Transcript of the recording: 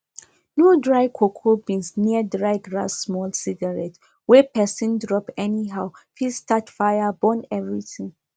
no dry cocoa beans near dry grasssmall cigarette wey person drop anyhow fit start fire burn everything